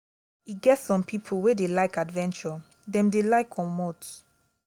e get some pipo wey dey like adventure dem dey like comot